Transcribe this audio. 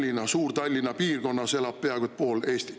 – ja kogu Suur-Tallinna piirkonnas elab peaaegu pool Eestit.